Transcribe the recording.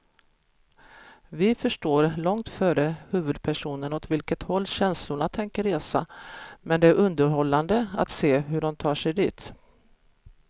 Vi förstår långt före huvudpersonerna åt vilket håll känslorna tänker resa, men det är underhållande att se hur de tar sig dit.